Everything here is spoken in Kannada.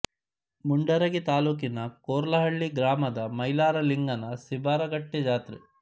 ಮುಂಡರಗಿ ತಾಲ್ಲೂಕಿನ ಕೊರ್ಲಹಳ್ಳಿ ಗ್ರಾಮದ ಮೈಲಾರ ಲಿಂಗನ ಸಿಬಾರಗಟ್ಟೆ ಜಾತ್ರೆ